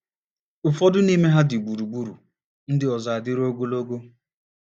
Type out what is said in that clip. Ụfọdụ n’ime ha dị gburugburu, ndị ọzọ adịrị ogologo.